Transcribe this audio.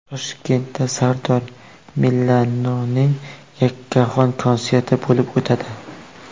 Toshkentda Sardor Milanoning yakkaxon konserti bo‘lib o‘tadi.